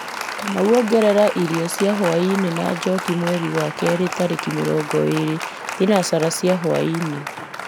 kamau ongerera irio cia hwaĩ-inĩ na njoki mweri-inĩ wa kerĩ tarĩki mĩrongo ĩĩrĩ thinacara cia hwaĩ-inĩ